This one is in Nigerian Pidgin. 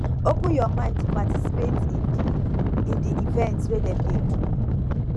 open your mind to participate in di in di events wey dem dey do